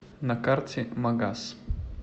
на карте магас